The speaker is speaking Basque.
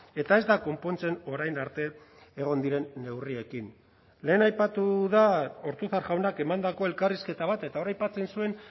eta ez da konpontzen orain arte egon diren neurriekin lehen aipatu da ortuzar jaunak emandako elkarrizketa bat eta hor aipatzen zuen